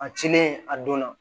A cilen a donna